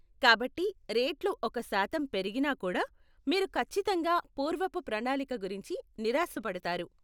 కాబట్టి రేట్లు ఒక శాతం పెరిగినా కూడా మీరు ఖచ్చితంగా పూర్వపు ప్రణాళిక గురించి నిరాశపడతారు.